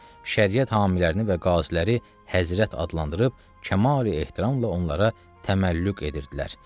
Şəriət hamilərini və qaziləri Həzrət adlandırıb kamil ehtiramla onlara təməllüq edirdilər.